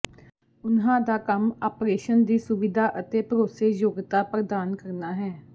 ਉਨ੍ਹਾਂ ਦਾ ਕੰਮ ਆਪਰੇਸ਼ਨ ਦੀ ਸੁਵਿਧਾ ਅਤੇ ਭਰੋਸੇਯੋਗਤਾ ਪ੍ਰਦਾਨ ਕਰਨਾ ਹੈ